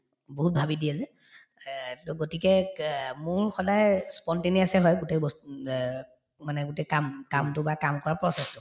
বহুত ভাবি দিয়ে যে এহ্ to গতিকে কে মোৰ সদায় spontaneous য়ে হয় গোটেই বস্ত এহ্ মানে গোটেই কাম কামটো বা কাম কৰা process তো